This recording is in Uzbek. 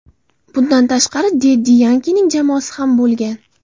Bundan tashqari, Deddi Yankining jamoasi ham bo‘lgan.